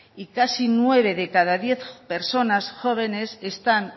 y casi nueve de cada diez personas jóvenes están